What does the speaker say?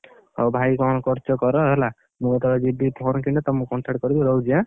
ହଉ ଭାଇ କଣ କରୁଛ କର ହେଲା, ମୁଁ ଯେତବେଳେ ଯିବି phone କିଣିତେ ତମୁକୁ contact କରିବି ରହୁଛି ଆଁ?